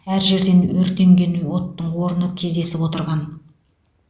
әр жерден өртенген оттың орны кездесіп отырған